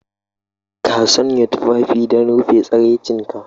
Ka sanya tufafi don rufe tsiraicinka.